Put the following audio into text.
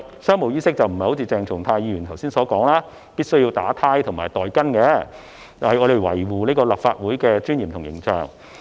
商務衣飾並非如剛才鄭松泰議員所說必須結領帶和戴袋巾，而是要維護立法會的尊嚴和形象。